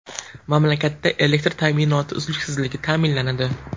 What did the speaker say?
Mamlakatda elektr ta’minoti uzluksizligi ta’minlanadi.